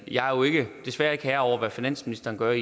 jeg er jo desværre ikke herre over hvad finansministeren gør